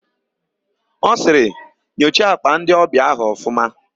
Ọ sịrị, "nyocha àkpà ndịọbịa áhụ̀ ọfụma"!.